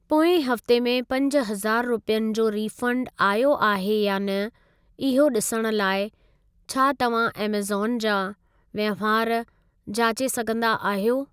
पोएं हफ़्तो में पंज हज़ारु रुपियनि जो रीफंड आयो आहे या न इहो ॾिसण लाइ छा तव्हां ऐमेज़ॉन जा वहिंवार जाचे सघंदा आहियो?